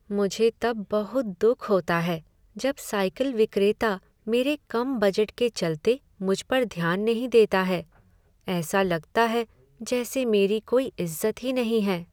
मुझे तब बहुत दुख होता है जब साइकिल विक्रेता मेरे कम बजट के चलते मुझ पर ध्यान नहीं देता है। ऐसा लगता है जैसे मेरी कोई इज्जत ही नहीं है।